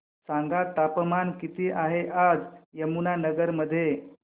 सांगा तापमान किती आहे आज यमुनानगर मध्ये